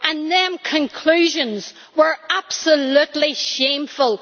Those conclusions were absolutely shameful!